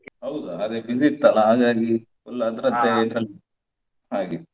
ಹೌದಾ ಅದೇ busy ಇತ್ತಲ್ಲ ಹಾಗಾಗಿ full ಅದ್ರದ್ದೇ ಇದ್ರಲ್ಲಿ ಹಾಗೆ.